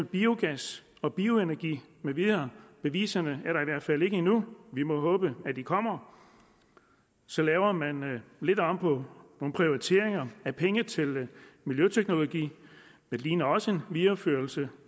biogas og bioenergi med videre beviserne er der i hvert fald ikke endnu vi må håbe at de kommer så laver man lidt om på nogle prioriteringer af penge til miljøteknologi det ligner også en videreførelse